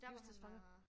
Livstidsfanger